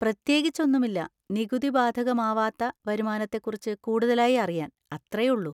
പ്രത്യേകിച്ച് ഒന്നുമില്ല, നികുതി ബാധകമാവാത്ത വരുമാനത്തെ കുറിച്ച് കൂടുതലായി അറിയാൻ, അത്ര ഉള്ളൂ.